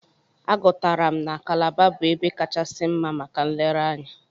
Agụtara m na Kalaba bụ ebe kachasi mma maka nlereanya.